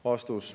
" Vastus.